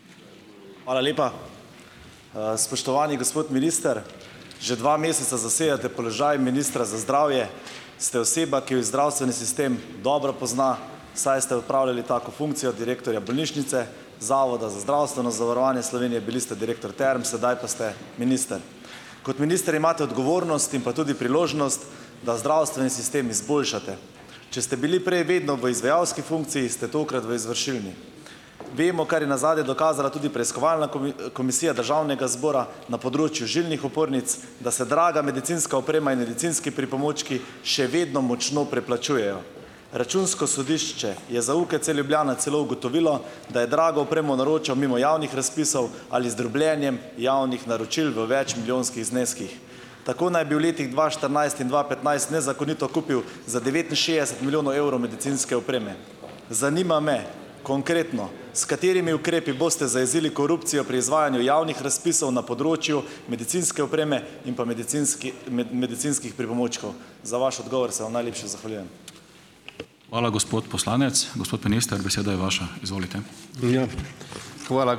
Hvala lepa. Spoštovani gospod minister! Že dva meseca zasedate položaj ministra za zdravje, ste oseba, ki jo zdravstveni sistem dobro pozna, saj ste opravljali tako funkcijo direktorja bolnišnice, Zavoda za zdravstveno zavarovanje Slovenije, bili ste direktor Term, sedaj pa ste minister. Kot minister imate odgovornost in pa tudi priložnost, da zdravstveni sistem izboljšate. Če ste bili prej vedno v izvajalski funkciji, ste tokrat v izvršilni. Vemo, kar je nazadnje dokazala tudi preiskovalna komisija Državnega zbora na področju žilnih opornic, da se draga medicinska oprema in medicinski pripomočki še vedno močno preplačujejo. Računsko sodišče je za UKC Ljubljana celo ugotovilo, da je drago opremo naročal mimo javnih razpisov ali z drobljenjem javnih naročil v večmilijonskih zneskih. Tako naj bi v letih dva štirinajst in dva petnajst nezakonito kupil za devetinšestdeset milijonov evrov medicinske opreme. Zanima me konkretno, s katerimi ukrepi boste zajezili korupcijo pri izvajanju javnih razpisov na področju medicinske opreme in pa medicinskih pripomočkov? Za vaš odgovor se vam najlepše zahvaljujem.